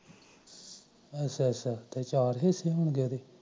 ਅਛਾ ਅਛਾ